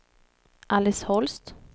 Alice Holst